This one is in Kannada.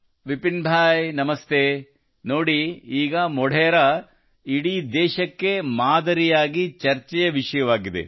ವಿಪಿನ್ ಭಾಯ್ ನಮಸ್ತೆ ನೋಡಿ ಈಗ ಮೊಢೆರಾ ಇಡೀ ದೇಶಕ್ಕೆ ಮಾದರಿಯಾಗಿ ಚರ್ಚೆಯ ವಿಷಯವಾಗಿದೆ